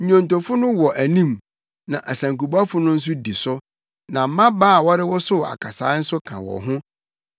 Nnwontofo no wɔ anim, na asankubɔfo no nso di so, na mmabaa a wɔrewosow akasae nso ka wɔn ho.